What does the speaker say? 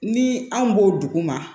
Ni anw b'o duguma